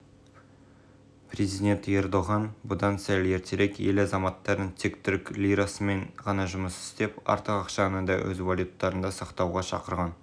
стамбул биржасы желтоқсан күні барлық операцияны лирамен жүргізіп жиналатын қорды да тек ұлттық валютамен сақтау туралы шешім қабылдаған еді